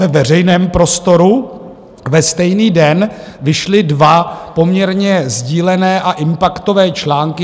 Ve veřejném prostoru ve stejný den vyšly dva poměrně sdílené a impaktové články.